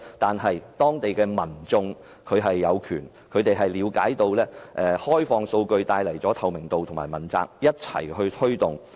但是，當地民眾了解到開放數據會帶來透明度和問責，因此一起推動及要求開放數據。